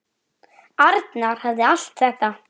hreytti Lilja út úr sér.